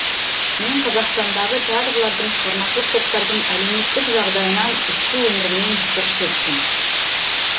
мен қазақстандағы театрлардың шығармашылық топтардың әлеуметтік жағдайынан ішкі өмірінен сыр шерттім